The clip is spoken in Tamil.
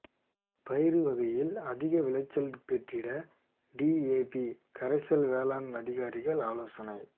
பயிறு வகைகளில் அதிக விளைச்சல் பெற்றிட டிஏபி கரைசல் வேளாண் அதிகாரிகள் ஆலோசனை